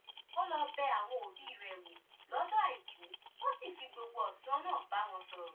ó lọ bẹ àwọn òbí rẹ̀ wò lọ́jọ́ àìkú ó sì fi gbogbo ọ̀sán náà bá wọn sọ̀rọ̀